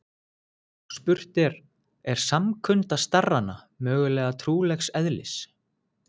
Og spurt er: er samkunda starrana mögulega trúarlegs eðlis?